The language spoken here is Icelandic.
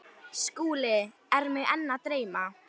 SKÚLI: Er mig enn að dreyma?